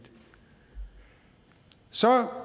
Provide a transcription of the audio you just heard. så